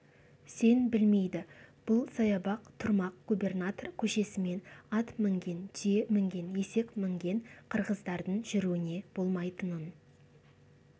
сен білмейді бұл саябақ тұрмақ губернатор көшесімен ат мінген түйе мінген есек мінген қырғыздардың жүруіне болмайтынын